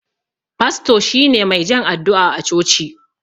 Fasto shine mai jan addu'a a coci.